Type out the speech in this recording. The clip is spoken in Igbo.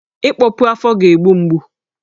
Ịkpọpu afọ ga-egbu mgbu